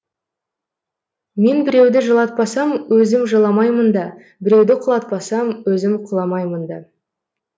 мен біреуді жылатпасам өзім жыламаймын да біреуді құлатпасам өзім құламаймын да